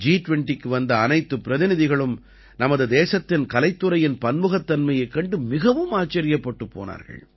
ஜி20க்கு வந்த அனைத்துப் பிரதிநிதிகளும் நமது தேசத்தின் கலைத்துறையின் பன்முகத்தன்மையைக் கண்டு மிகவும் ஆச்சரியப்பட்டுப் போனார்கள்